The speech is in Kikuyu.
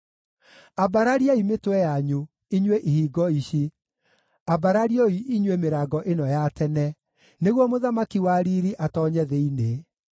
Ambarariai mĩtwe yanyu, inyuĩ ihingo ici, ambararioi inyuĩ mĩrango ĩno ya tene, nĩguo Mũthamaki wa riiri atoonye thĩinĩ.